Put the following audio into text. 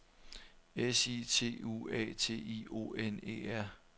S I T U A T I O N E R